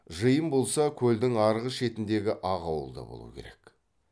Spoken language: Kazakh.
жиын болса көлдің арғы шетіндегі ақ ауылда болу керек